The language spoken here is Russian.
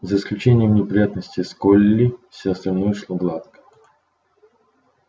за исключением неприятностей с колли все остальное шло гладко